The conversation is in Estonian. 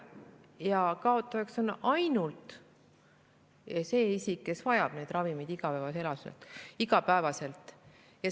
Ja kaotajaiks on isikud, kes vajavad neid ravimeid iga päev.